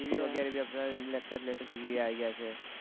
TV વગેરે અત્યારે laptopTV આવી ગયા છે